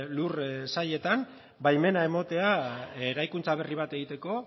lursailetan baimena ematea eraikuntza berri bat egiteko